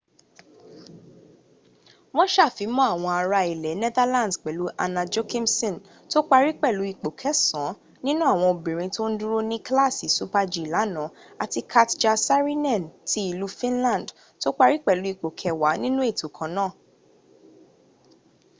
wọ́n sàfimọ́ àwọn ará ilẹ̀ netherlands pẹ̀lú anna jochemsen tó parí pẹ̀lú ipò kẹsàn án nínú àwọn obìnrin tó ń dúró ní kílàsì super-g lánàá àti katja saarinen ti ìlú finland tó parí pẹ̀lú ipò kẹwàá nínú ètò kanáà